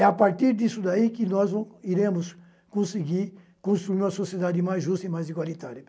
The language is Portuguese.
É a partir disso daí que nós não iremos conseguir construir uma sociedade mais justa e mais igualitária.